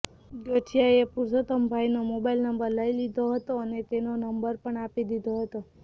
ગઠિયાએ પુરુષોત્તમભાઇનો mobile number લઇ લીધો હતો અને તેનો નંબર પણ આપી દીધો હતો